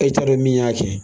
E taa dɔn min y'a kɛ.